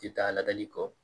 Tɛ taa ladali kɔ